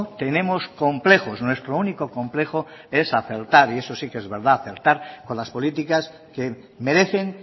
tenemos complejos nuestro único complejo es acertar y eso sí que es verdad acertar con las políticas que merecen